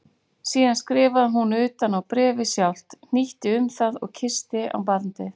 Síðan skrifaði hún utan á bréfið sjálft, hnýtti um það og kyssti á bandið.